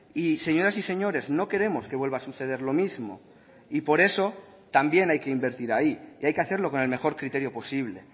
y señoras y señores no queremos que vuelva a suceder lo mismo y por eso también hay que invertir ahí y hay que hacerlo con el mejor criterio posible